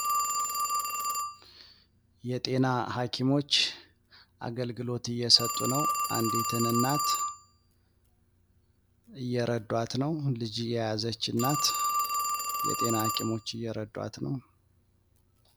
የጤና ሀኪሞች አገልግሎት እየሰጡ ነው። አንዲትን እናት እየረዷት ነው። ልጅ የያዘች እናት የጤና ሀኪሞች እየረዷት ነው።